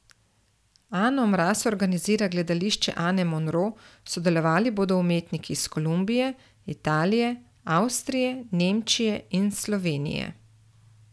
Ano Mraz organizira Gledališče Ane Monro, sodelovali bodo umetniki iz Kolumbije, Italije, Avstrije, Nemčije in Slovenije.